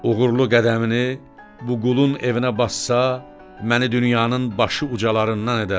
Uğurlu qədəmini bu qulun evinə bassa, məni dünyanın başı ucalarından edər.